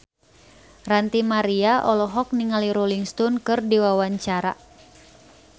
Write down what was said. Ranty Maria olohok ningali Rolling Stone keur diwawancara